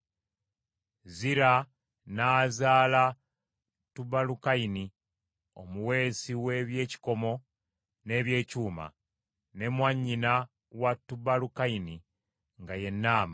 Zira n’azaala Tubalukayini omuweesi w’eby’ekikomo n’eby’ekyuma. Ne mwannyina wa Tubalukayini nga ye Naama.